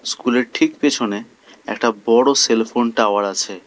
স্কুলের ঠিক পেছনে একটা বড় সেলফোন টাওয়ার আছে।